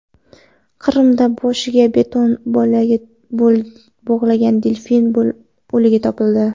Qrimda boshiga beton bo‘lagi bog‘langan delfin o‘ligi topildi.